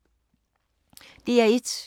DR1